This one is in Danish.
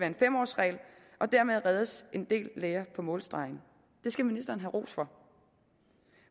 en fem årsregel og dermed reddes en del læger på målstregen det skal ministeren have ros for